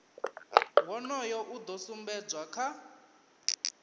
wonoyo u do sumbedzwa kha